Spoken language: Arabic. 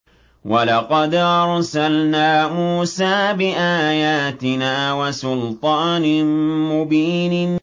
وَلَقَدْ أَرْسَلْنَا مُوسَىٰ بِآيَاتِنَا وَسُلْطَانٍ مُّبِينٍ